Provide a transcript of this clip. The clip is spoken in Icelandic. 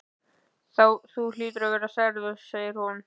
Þú hlýtur að vera særður sagði hún.